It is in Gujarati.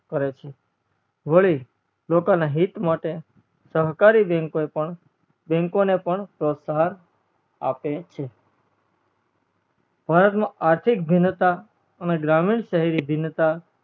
કરે છે વળી લોકો ના હિત માટે સહકારી bank ઓ એ પણ bank પણ પ્રોહાત્સન આપે છે ભારત માં આર્થીક ભીનતા અને ગરમીન શહેર ભીનતા